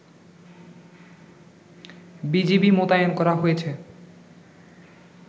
BGB মোতায়েন করা হয়েছে